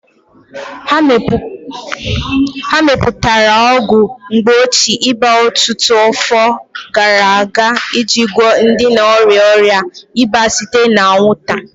A mepụtara ọgwụ mgbochi ịba ọtụtụ afọ gara aga iji gwọọ ndị na-arịa ọrịa ịba site na anwụnta.